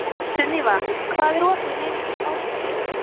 Sunniva, hvað er opið lengi í Háskólabúðinni?